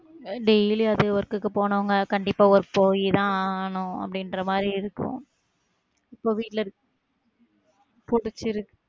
Daily அது work க்கு போனவங்க கண்டிப்பா ஒரு போய் தான் ஆகணும் அப்டின்ற மாதிரி இருக்கும் இப்போ வீட்ல இருக்~ புடிச்சிருக்கு